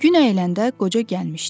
Gün əyləndə qoca gəlmişdi.